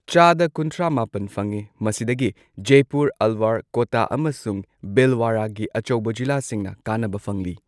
ꯆꯥꯗ ꯀꯨꯟꯊ꯭ꯔꯥ ꯃꯥꯄꯟ ꯐꯪꯉꯤ, ꯃꯁꯤꯗꯒꯤ ꯖꯦꯄꯨꯔ, ꯑꯜꯋꯔ, ꯀꯣꯇꯥ ꯑꯃꯁꯨꯡ ꯚꯤꯜꯋꯥꯔꯥꯒꯤ ꯑꯆꯧꯕ ꯖꯤꯂꯥꯁꯤꯡꯅ ꯀꯥꯟꯅꯕ ꯐꯪꯂꯤ꯫